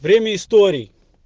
время историй